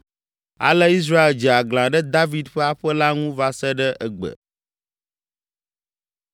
Ale Israel dze aglã ɖe David ƒe aƒe la ŋu va se ɖe egbe.